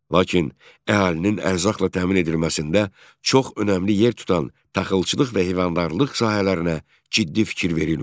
Lakin əhalinin ərzaqla təmin edilməsində çox önəmli yer tutan taxılçılıq və heyvandarlıq sahələrinə ciddi fikir verilmirdi.